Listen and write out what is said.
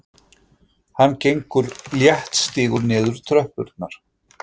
Hann gengur léttstígur niður tröppurnar.